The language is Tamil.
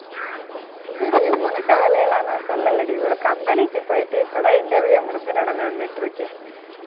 இல்லடி உனக்கு வேலை எல்லாம் நான் சொல்லலடி ஒரு company க்கு போயிட்டு, இப்பதான் interview முடிஞ்சு நடந்து வந்துட்டு இருக்கேன்